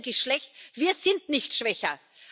Sie werden geschwächt, wir sind nicht schwächer.